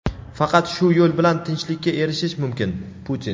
faqat shu yo‘l bilan tinchlikka erishish mumkin – Putin.